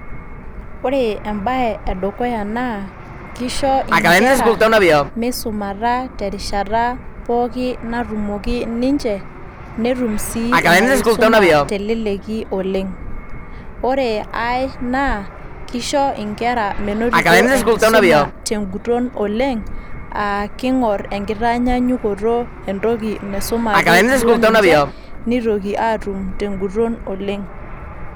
Ore embae e dukuya naa keisho nkera meisumata terishata pookin natumoki ninche netum sii ina kisuma teleleki oleng. Ore ae naa keisho nkera menotito enkisuma teguton oleng aa king`orr enkitaanyanyukoto entoki naisumaaki duo ninche neitoki aatum te ng`uton oleng.